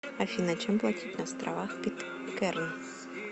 афина чем платить на островах питкэрн